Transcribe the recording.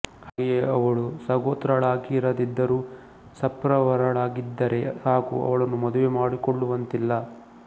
ಹಾಗೆಯೇ ಅವಳು ಸಗೋತ್ರಳಾಗಿರದಿದ್ದರೂ ಸಪ್ರವರಳಾಗಿದ್ದರೆ ಸಾಕು ಅವಳನ್ನು ಮದುವೆ ಮಾಡಿಕೊಳ್ಳುವಂತಿಲ್ಲ